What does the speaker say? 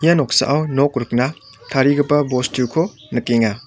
ia noksao nok rikna tarigipa bostuko nikenga.